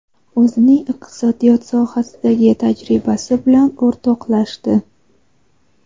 o‘zining iqtisodiyot sohasidagi tajribasi bilan o‘rtoqlashdi.